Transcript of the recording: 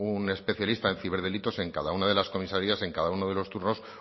un especialista en ciberdelitos en cada una de las comisarias en cada uno de los turnos